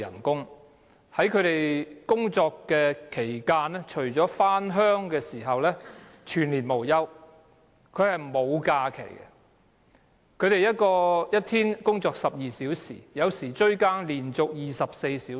工人除了在回鄉的日子，其餘日子全年無休地上班，沒有假期，一天工作12小時，有時候"追更"甚至要連續工作24小時。